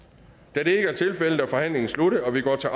da det ikke er tilfældet er forhandlingen sluttet og vi går til